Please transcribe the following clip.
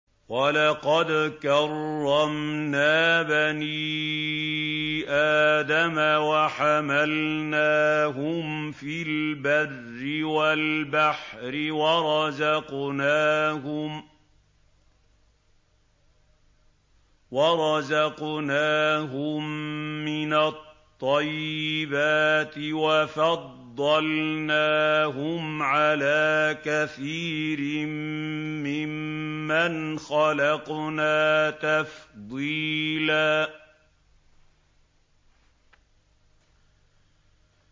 ۞ وَلَقَدْ كَرَّمْنَا بَنِي آدَمَ وَحَمَلْنَاهُمْ فِي الْبَرِّ وَالْبَحْرِ وَرَزَقْنَاهُم مِّنَ الطَّيِّبَاتِ وَفَضَّلْنَاهُمْ عَلَىٰ كَثِيرٍ مِّمَّنْ خَلَقْنَا تَفْضِيلًا